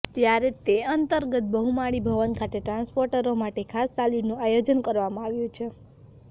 ત્યારે તે અંતર્ગત બહુમાળી ભવન ખાતે ટ્રાન્સપોર્ટરો માટે ખાસ તાલીમનું આયોજન કરવામાં આવ્યું છે